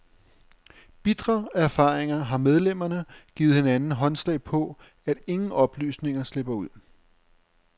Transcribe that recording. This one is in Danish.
Bitre af erfaringer har medlemmerne givet hinanden håndslag på, at ingen oplysninger slipper ud.